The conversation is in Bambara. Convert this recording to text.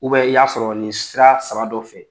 U bɛ i y'a sɔrɔ nin sira saba dɔ fɛ